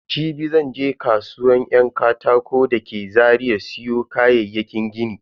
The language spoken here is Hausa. Jibi zan je kasuwan yan katako da ke Zaria siyo kayayyakin gini.